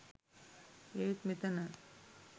ඒත් මෙතන